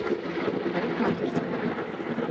парикмахерская